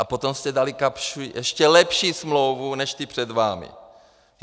A potom jste dali Kapschi ještě lepší smlouvu než ti před vámi.